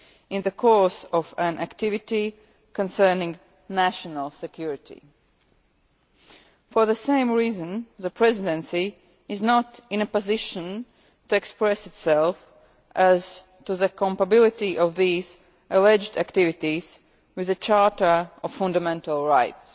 in the course of an activity concerning national security. For the same reason the Presidency is not in a position to express itself as to the compatibility of these alleged activities with the Charter of Fundamental Rights.